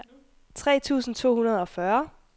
tre tusind to hundrede og fyrre